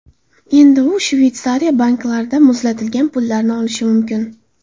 Endi u Shveysariya banklarida muzlatilgan pullarni olishi mumkin.